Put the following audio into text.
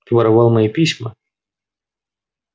ты воровал мои письма